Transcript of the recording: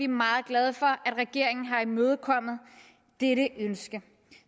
meget glade for at regeringen har imødekommet dette ønske